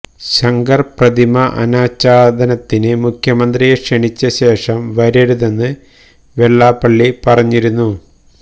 ശങ്കർ പ്രതിമാ അനാച്ഛാദനത്തിന് മുഖ്യമന്ത്രിയെ ക്ഷണിച്ച ശേഷം വരരുതെന്ന് വെള്ളാപ്പള്ളി പറഞ്ഞിരുന്നു